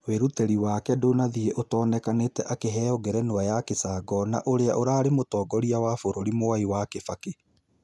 Wĩruteri wake ndũnathie ũtonĩkanĩte akĩheo ngerenwa ya gĩcangona ũrĩa ũrarĩ mũtongoria wa bũrũri mwai wa kibaki.